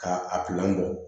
Ka a bɔ